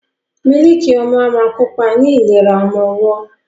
Mílíìkì ọmú a máa kópa ní ìlera ọmọwọ́.